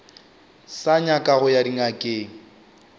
sa nyaka go ya dingakeng